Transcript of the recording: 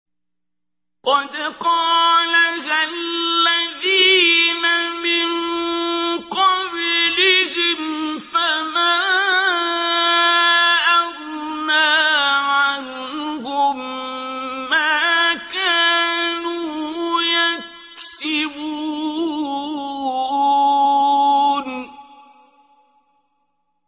قَدْ قَالَهَا الَّذِينَ مِن قَبْلِهِمْ فَمَا أَغْنَىٰ عَنْهُم مَّا كَانُوا يَكْسِبُونَ